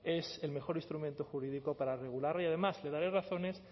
es el mejor instrumento jurídico para regular y además le daré razones